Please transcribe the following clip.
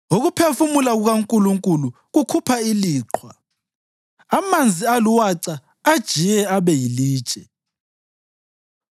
Ukuphefumula kukaNkulunkulu kukhupha iliqhwa, amanzi aluwaca ajiye abe yilitshe.